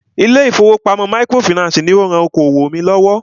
Ilé ìfọwọ́pamo microfinancii ní o rán okoòwò mí lọ́wọ́.